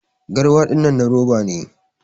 Garwa na ruwa dinnan na roba ne